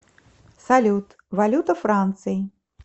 салют валюта франции